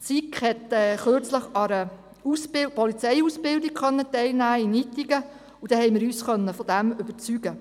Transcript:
Die SiK konnte kürzlich an einer Polizeiausbildung in Ittigen teilnehmen, und wir konnten uns davon überzeugen.